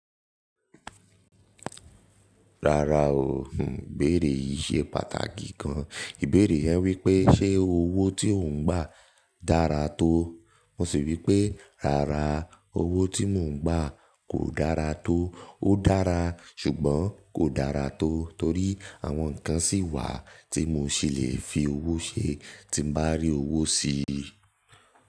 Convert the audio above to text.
Rárá o, ìbéèrè yìí ṣe pàtàkì gan. Ìbéèrè yen wípé ṣé owó tí ò ń gbà dára tó? Mo sì wípé rárá, owó tí mò ń gbà kò dára tó. Ó dára ṣùgbọ́n kò dára tó torí àwọn nǹkan sì wà tí mo ṣì le fi owó ṣe tí n bá rí owó sí i.